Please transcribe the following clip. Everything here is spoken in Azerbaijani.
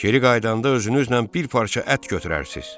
Geri qayıdanda özünüzlə bir parça ət gətirərsiniz.